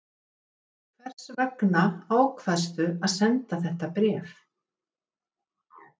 Þórhildur Þorkelsdóttir: Hvers vegna ákvaðstu að senda þetta bréf?